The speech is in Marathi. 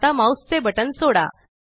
आता माउस चे बटन सोडा